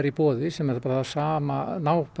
í boði sem er það sama